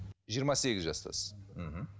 жиырма сегіз жастасыз мхм